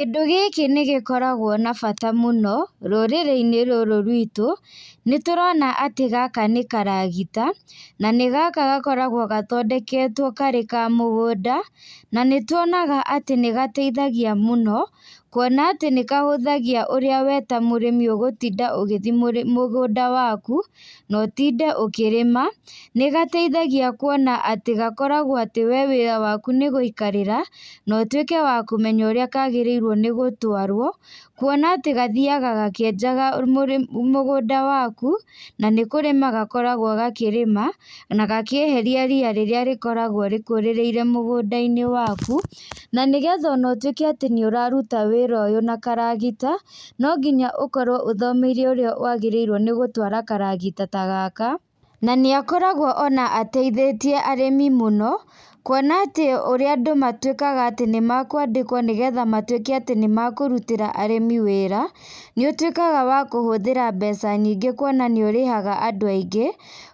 Kĩndũ gĩkĩ nĩgĩkoragwo na bata mũno, rũrĩrĩinĩ rũrũ rwitũ, nĩtũrona atĩ gaka nĩkaragita, na nĩ gaka gakoragwo gathondeketwo karĩ ka mũgũnda, na nĩtuonaga atĩ nĩgateithagia mũno, kuona atĩ nĩkahũthagia ũrĩa we ta mũrĩmi ũgũtinda ũgĩthiĩ mũ mũgũnda waku, na ũtinde ũkĩrĩma, nĩgateithagia kuona atĩ gakoragwo atĩ we wĩra waku nĩgũikarĩra, na ũtuĩke wa kũmenya ũrĩa kagĩrĩirwo nĩgũtwarwo, kuona atĩ gathiaga gakĩenjaga mũrĩ mũgũnda waku, na nĩkũrĩma gakoragwo gakĩrĩma, na gakĩeheria rĩa rĩrĩa rĩkoragwo rĩkũrĩrĩire mũgũndainĩ waku, na nĩgetha ona ũtuĩke atĩ nĩũraruta wĩra ũyũ na karagita, no nginya ũkorwo ũthomeire ũrĩa wagĩrĩirwo nĩgũtwara karagita ta gaka, na nĩakoragwo ona ateithĩtie arĩmi mũno, kuona atĩ ũrĩa andũ matuĩkaga atĩ nĩmakwadĩkwo nĩgetha matuĩke atĩ nĩmakũrutĩra arĩmi wĩra, nĩũtuĩkaga wa kũhũthĩra mbeca nyingĩ kuona nĩũrihaga andũ aingĩ,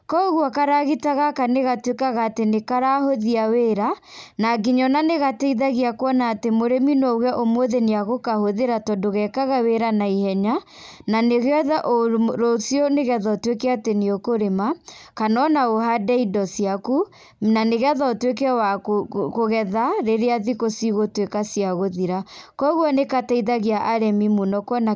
koguo karagita gaka nĩgatuĩkaga atĩ nĩkarahũthia wĩra, na nginya ona nĩgateithagia kuona atĩ mũrĩmi no auge ũmũthĩ nĩagũkahũthĩra tondũ gekaga wĩra na ihenya, na nĩgetha rũciũ nĩgetha ũtuĩke atĩ nĩũkũrĩma, kana ona ũhande indo ciaku, na nĩgetha ũtuĩke wa kũ kũ kũgetha rĩrĩa thikũ cigũtuĩka cia gũthira, koguo nĩgateithagia arĩmi mũno kuona kĩ.